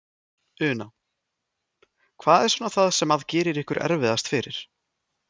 Una: Hvað er svona það sem að gerir ykkur erfiðast fyrir?